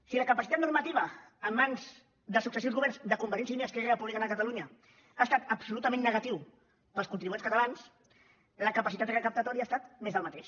si la capacitat normativa en mans dels successius governs de convergència i unió i esquerra republicana de catalunya ha estat absolutament negativa per als contribuents catalans la capacitat recaptatòria ha estat més del mateix